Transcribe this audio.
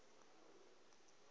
o be a na le